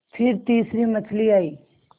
फिर तीसरी मछली आई